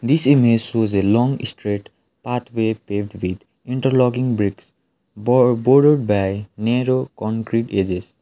this image shows a long straight path way paved with interlocking bricks bo boarded by narrow concrete edges.